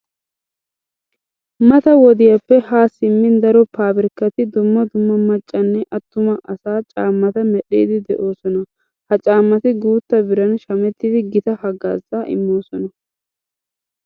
Mata wodiyappe haa simmin daro paabirkkati dumma dumma maccanne attuma asaa caammata medhdhiiddi de'oosona. Ha caammati guutta biran shamettidi gita haggaazaa immoosona.